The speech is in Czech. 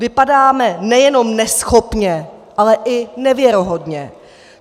Vypadáme nejenom neschopně, ale i nevěrohodně.